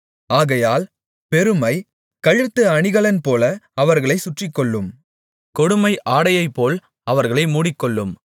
ஆகையால் பெருமை கழுத்து அணிகலன்போல அவர்களைச் சுற்றிக்கொள்ளும் கொடுமை ஆடையைப்போல் அவர்களை மூடிக்கொள்ளும்